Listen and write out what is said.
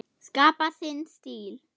Skapa sinn stíl.